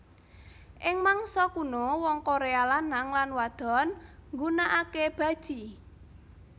Ing mangsa kuno wong Korea lanang lan wadon nggunakake baji